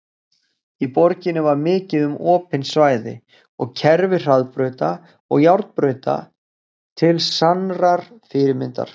Í borginni var mikið um opin svæði og kerfi hraðbrauta og járnbrauta til sannrar fyrirmyndar.